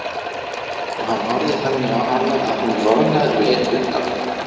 Og hann horfði þannig á hana að hún roðnaði og leit undan.